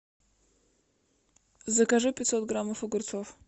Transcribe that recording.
закажи пятьсот граммов огурцов